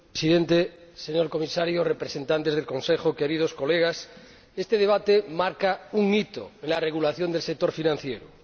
Señor Presidente, señor Comisario, representantes del Consejo, queridos colegas, este debate marca un hito en la regulación del sector financiero.